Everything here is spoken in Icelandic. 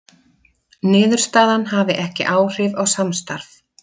Niðurstaðan hafi ekki áhrif á samstarf